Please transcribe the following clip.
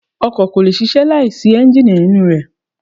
Ọkọ̀ kò lè ṣíṣe láìsí Ẹ́ńjíìnì nínú rẹ.